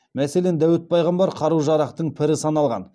мәселен дәуіт пайғамбар қару жарақтың пірі саналған